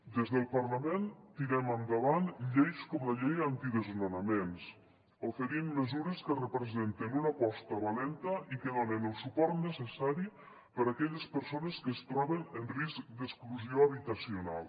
des del parlament tirem endavant lleis com la llei antidesnonaments oferint mesures que representen una aposta valenta i que donen el suport necessari per a aquelles persones que es troben en risc d’exclusió habitacional